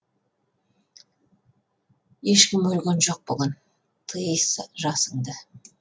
ешкім өлген жоқ бүгін тый жасыңды